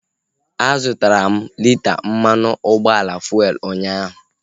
A zụtara m lita mmanụ ụgbọala fuelu unyaahu